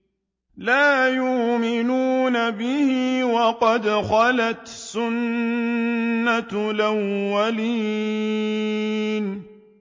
لَا يُؤْمِنُونَ بِهِ ۖ وَقَدْ خَلَتْ سُنَّةُ الْأَوَّلِينَ